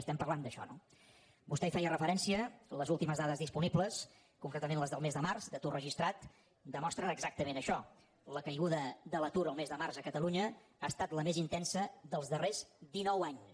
estem parlant d’això no vostè hi feia referència les últimes dades disponibles concretament les del mes de març d’atur registrat demostren exactament això la caiguda de l’atur el mes de març a catalunya ha estat la més intensa dels darrers dinou anys